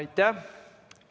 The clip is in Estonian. Aitäh!